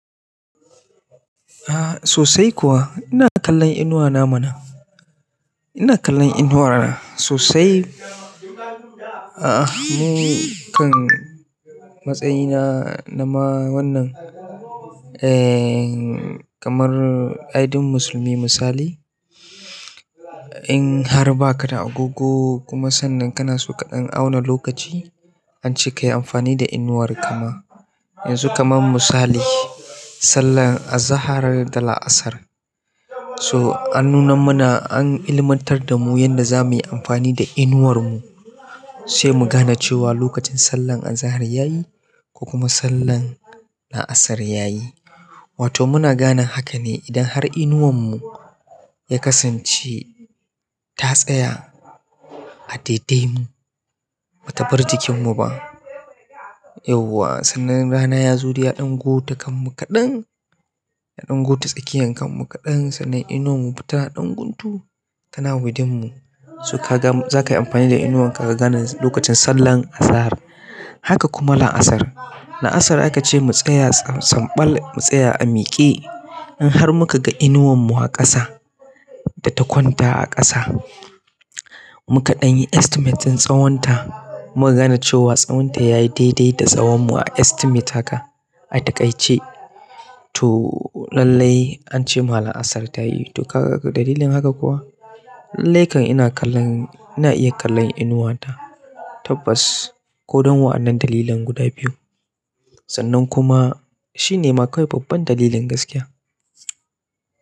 A'a sosai kuwa ina kallon inuwana mana. Ina kallon inuwa na sosai, ah, a nikam a matsayina nama wannan ehm kamar. Ai duk musulmi misali in har ba ka da agogo kuma sannan kana so kaɗan auna lokaci, ance kayi amfani da inuwar kama. Yanzu kaman misali, sallan azahar da la'asar so an nuna mana an ilmantar da mu yanda za muyi amfani da inuwarmu sai mu gane cewa lokacin sallan azahar yayi ko kuma sallan la'asar yayi. Wato muna gane hakane idan har inuwarmu ya kadance ta tsaya a daidai bata bar jikinmu ba. Yauwa sannan rana ya zo da ya ɗan gota kanmu kaɗan, ya ɗan gota tsakiyan kanmu kaɗan sannan inuwarmu ba tana ɗan guntu tana gudun mu. So ka ga-- zaka yi amfani da inuwan ka ka gane lokacin sallan azahar haka kuma laasar. La'asar akace mu tsaya, sumbal mutsaya a miƙe inhar muka ga inuwarmu a ƙasa data kwanta a ƙasa. Mu kaɗan yi estimating tsawonta muk gane cewa tsawonta yayi daidai da tsawon mu a estimate haka a takaice to lallai ance ma la'asar ta yi. To ka ga dalilin haka kuwa? Lallai kam ina kallon, ina iya kallon inuwa ta tabbas kodan wa'annan dalilan guda biyu sannan kuma shine ma kawai babban dalilin gaskiya.